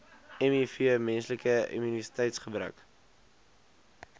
miv menslike immuniteitsgebrek